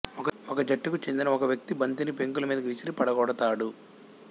ఒక జట్టుకు చెందిన ఒక వ్యక్తి బంతిని పెంకుల మీదకు విసిరి పడగొడతాడు